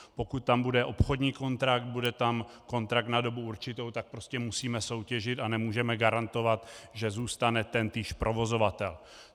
Pokud tam bude obchodní kontrakt, bude tam kontrakt na dobu určitou, tak prostě musíme soutěžit a nemůžeme garantovat, že zůstane tentýž provozovatel.